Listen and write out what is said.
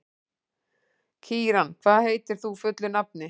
Kíran, hvað heitir þú fullu nafni?